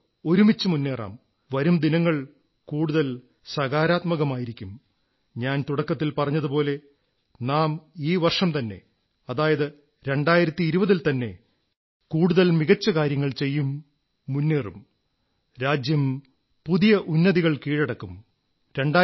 നമുക്ക് ഒരുമിച്ച് മുന്നേറാം വരും ദിനങ്ങൾ കൂടുതൽ സകാരാത്മകമായിരിക്കും ഞാൻ തുടക്കത്തിൽ പറഞ്ഞതുപോലെ നാം ഈ വർഷംതന്നെ അതായത് 2020 ൽത്തന്നെ കൂടുതൽ മികച്ചകാര്യങ്ങൾ ചെയ്യും മുന്നേറും രാജ്യം പുതിയ ഉന്നതികൾ കീഴടക്കും